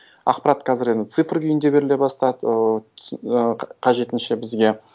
ақпарат қазір енді цифр күйінде беріле бастады ыыы ы қажетінше бізге